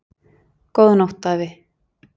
Góða nótt afi!